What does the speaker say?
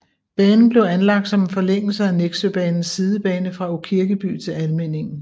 Banen blev anlagt som en forlængelse af Nexøbanens sidebane fra Aakirkeby til Almindingen